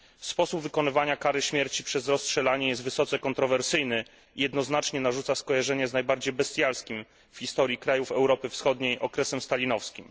Sposób wykonywania kary śmierci przez rozstrzelanie jest wysoce kontrowersyjny i jednoznacznie narzuca skojarzenie z najbardziej bestialskim w historii krajów Europy Wschodniej okresem stalinowskim.